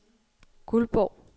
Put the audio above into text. Guldborg